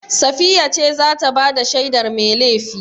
Safiya ce za ta ba da shaidar mai laifi.